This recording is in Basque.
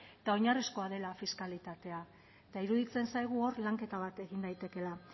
eta oinarrizkoa dela fiskalitatea eta iruditzen zaigu hor lanketa bat egin daitekeela